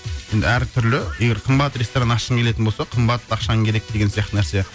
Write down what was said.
енді әртүрлі егер қымбат ресторан ашқың келетін болса қымбат ақшаң керек деген сияқты нәрсе